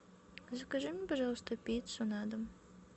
закажи мне пожалуйста пиццу на дом